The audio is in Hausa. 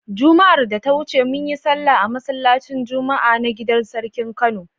Juma'ar da ta wuce mun yi sallah a masallacin Juma'a na gidar sarkin Kano.